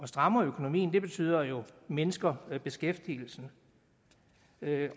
strammer økonomien betyder jo at man mindsker beskæftigelsen